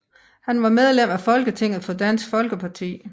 Han var medlem af Folketinget for Dansk Folkeparti